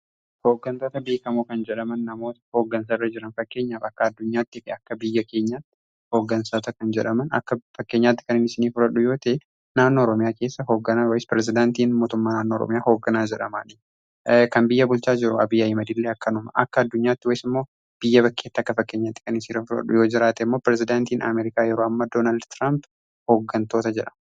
Hooggantoota beekamoo kan jedhaman namoota hooggansa irra jiran fakkeenyaaf akka addunyaattii fi akka biyya keenyaatti hooggansoota kan jedhaman akka fakkeenyaatti kan isinii furadhu yoota'e naannoo Oromiyaa keessa hoogganaa ways pirezidaantiin mootumma naannoo Oromiyaa kan biyya bulchaa jiru Abiyyi Ahimadillee akkanuma akka addunyaatti ways immoo biyya bakkeetti akka fakkeenya xiqanii siraa furadhu yoo jiraate immoo pirezidaantiin Ameerikaa yeroo ammaa Doonaald Tiraamp hooggantoota jedhama.